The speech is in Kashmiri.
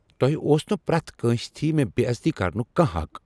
تۄہہ اوس نہٕ پریتھ کٲنٛسہ تھی مےٚ بے عزتی کرنک کانٛہہ حق۔